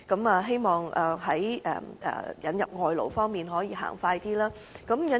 我希望政府在引入外勞方面可以盡快進行。